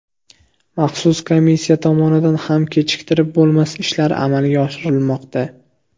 Maxsus komissiya tomonidan ham kechiktirib bo‘lmas ishlar amalga oshirilmoqda.